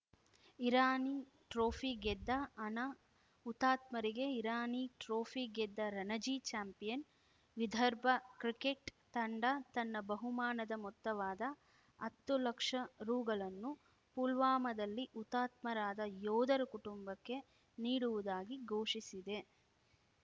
Irani trophy ಗೆದ್ದ ಹಣ ಹುತಾತ್ಮರಿಗೆ ಇರಾನಿ ಟ್ರೋಫಿ ಗೆದ್ದ ರಣಜಿ ಚಾಂಪಿಯನ್‌ ವಿದರ್ಭ ಕ್ರಿಕೆಟ್‌ ತಂಡ ತನ್ನ ಬಹುಮಾನದ ಮೊತ್ತವಾದ ಹತ್ತು ಲಕ್ಷ ರುಗಳನ್ನು ಪುಲ್ವಾಮಾದಲ್ಲಿ ಹುತಾತ್ಮರಾದ ಯೋಧರ ಕುಟುಂಬಕ್ಕೆ ನೀಡುವುದಾಗಿ ಘೋಷಿಸಿದೆ